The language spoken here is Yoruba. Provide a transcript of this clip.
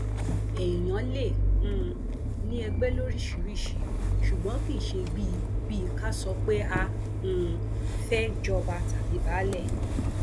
èèyàn lè um ní ẹgbẹ lóríṣìíríṣìí ṣùgbọn kì í ṣe bíi bíi ká sọ pé a um fẹẹ jọba tàbí baálé